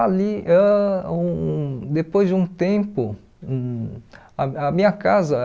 Ali, ãh um depois de um tempo, hum a a minha casa